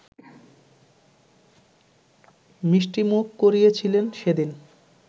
মিষ্টিমুখ করিয়েছিলেন সেদিন